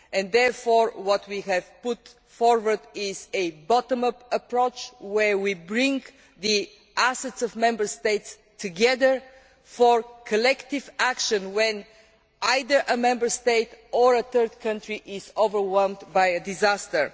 Therefore, what we have put forward is a bottom up' approach where we bring the assets of Member States together for collective action when either a Member State or a third country is overwhelmed by a disaster.